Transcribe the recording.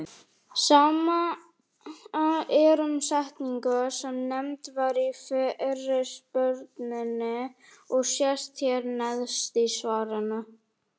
Sama er um setninguna sem nefnd var í fyrirspurninni og sést hér neðst í svarinu.